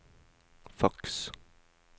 faks